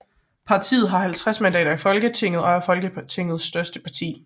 Partiet har 50 mandater i Folketinget og er Folketingets største parti